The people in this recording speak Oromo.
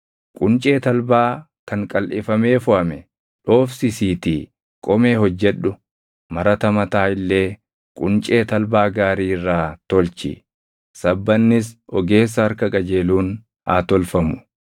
“Quncee talbaa kan qalʼifamee foʼame dhoofsisiitii qomee hojjedhu; marata mataa illee quncee talbaa gaarii irraa tolchi. Sabbannis ogeessa harka qajeeluun haa tolfamu.